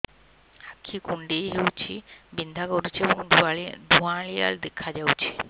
ଆଖି କୁଂଡେଇ ହେଉଛି ବିଂଧା କରୁଛି ଏବଂ ଧୁଁଆଳିଆ ଦେଖାଯାଉଛି